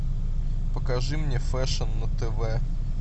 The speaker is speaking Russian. покажи мне фэшн на тв